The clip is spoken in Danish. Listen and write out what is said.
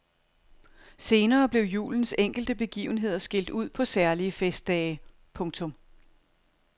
Senere blev julens enkelte begivenheder skilt ud på særlige festdage. punktum